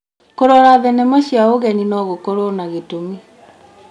Kũrora thenema cia ũgeni no gũkorwo na gĩtũmi.